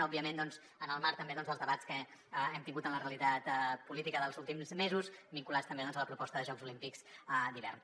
òbviament en el marc també doncs dels debats que hem tingut en la realitat política dels últims mesos vinculats també a la proposta de jocs olímpics d’hivern